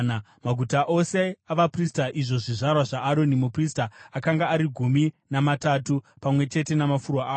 Maguta ose avaprista, izvo zvizvarwa zvaAroni muprista akanga ari gumi namatatu, pamwe chete namafuro awo.